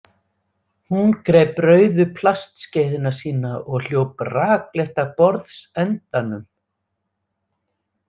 Hún greip rauðu plastskeiðina sína og hljóp rakleitt að borðsendanum.